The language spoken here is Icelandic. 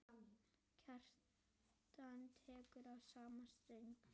Kjartan tekur í sama streng.